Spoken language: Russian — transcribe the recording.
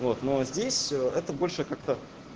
вот но здесь это больше как-то